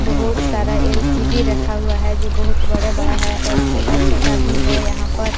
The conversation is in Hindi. बहुत सारा एल_सी_डी रखा हुआ है जो बहुत बड़ा बड़ा है और छोटा छोटा भी है यहां पर --